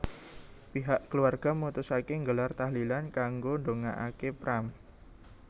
Pihak keluarga mutusaké nggelar tahlilan kanggo ndongakaké Pram